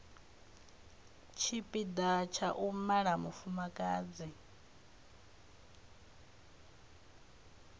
tshipiḓa tsha u mala mufumakadzi